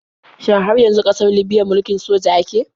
Shin har yanzu ƙasar libiya mulkin soja ake?